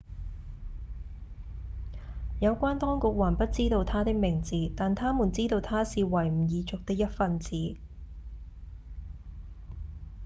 有關當局還不知道他的名字但他們知道他是維吾爾族的一份子